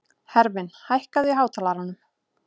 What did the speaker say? Hervin, hækkaðu í hátalaranum.